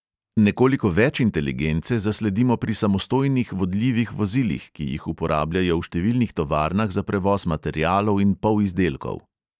Nekoliko več inteligence zasledimo pri samostojnih vodljivih vozilih, ki jih uporabljajo v številnih tovarnah za prevoz materialov in polizdelkov.